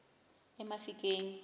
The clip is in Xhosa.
emafikeng